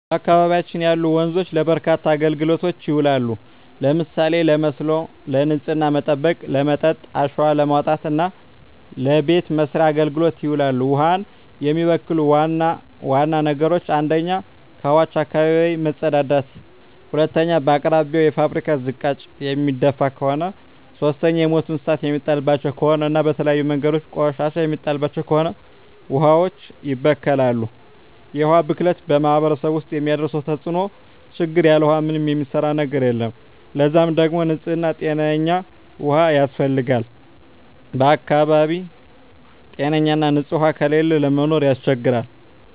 በአካባቢያችን ያሉ ወንዞች ለበርካታ አገልግሎቶች ይውላሉ። ለምሳሌ ለመስኖ፣ ንጽህናን ለመጠበቅ፣ ለመጠጥ፣ አሸዋ ለማውጣት እና ለበቤት መሥርያ አገልግሎት ይውላሉ። ውሀን የሚበክሉ ዋና ዋና ነገሮች 1ኛ ከውሀዋች አካባቢ መጸዳዳት መጸዳዳት 2ኛ በአቅራቢያው የፋብሪካ ዝቃጭ የሚደፍ ከሆነ ከሆነ 3ኛ የሞቱ እንስሳት የሚጣልባቸው ከሆነ እና በተለያዩ መንገዶች ቆሻሻ የሚጣልባቸው ከሆነ ውሀዋች ይበከላሉ። የውሀ ብክለት በማህረሰቡ ውስጥ የሚያደርሰው ተጽዕኖ (ችግር) ያለ ውሃ ምንም የሚሰራ ነገር የለም ለዛ ደግሞ ንጽህና ጤነኛ ውሃ ያስፈልጋል በአካባቢው ጤነኛ ና ንጽህ ውሃ ከሌለ ለመኖር ያስቸግራል።